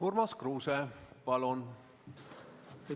Urmas Kruuse, palun!